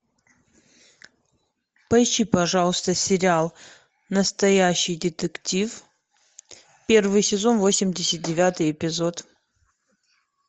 поищи пожалуйста сериал настоящий детектив первый сезон восемьдесят девятый эпизод